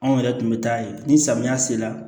Anw yɛrɛ tun bɛ taa yen ni samiya sera